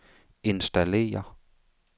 installere